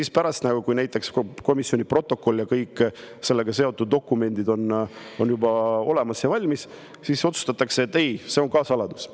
Ja pärast, kui komisjoni protokoll ja kõik sellega seotud dokumendid on juba olemas, siis otsustatakse, et see on ka saladus.